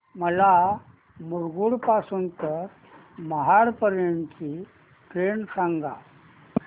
मला मुरुड पासून तर महाड पर्यंत ची ट्रेन सांगा